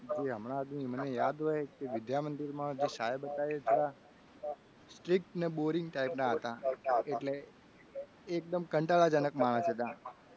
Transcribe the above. જે હમણાંથી મને યાદ હોય કે જે વિદ્યા મંદિર માં સાહેબ હતા એ થોડા strict ને boring type ના હતા. એટલે એ એકદમ કંટાળાજનક માણસ હતા એમ